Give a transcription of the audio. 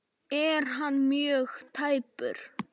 Er hann mjög tæpur?